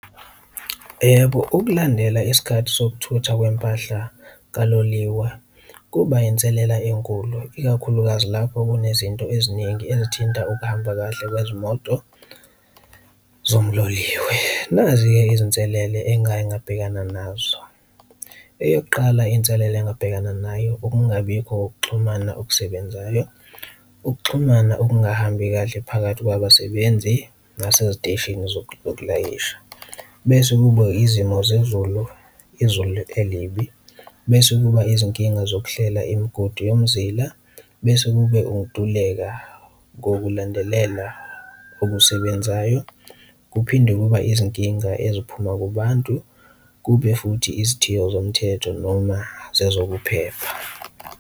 Yebo, ukulandela isikhathi sokuthutha kwempahla kaloliwa kuba inselela enkulu ikakhulukazi lapho kunezinto eziningi ezithinta ukuhamba kahle kwezimoto zomloliwe, nazi-ke izinselele engake ngabhekana nazo. Eyokuqala inselela engabhekana nayo ukungabikho ukuxhumana okusebenzayo, ukuxhumana okungahambi kahle phakathi kwabasebenzi naseziteshini zokulayisha bese kubo izimo zezulu, izulu elibi. Bese kuba izinkinga zokuhlela imigodi yomzila, bese kube ukuntuleka kokulandelela okusebenzayo, kuphinde kuba izinkinga eziphuma kubantu, kube futhi izithiyo zomthetho noma zezokuphepha.